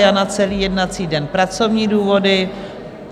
Jana celý jednací den - pracovní důvody.